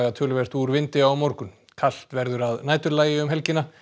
töluvert úr vindi á morgun kalt verður að næturlagi um helgina